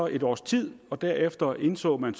et års tid og derefter indså man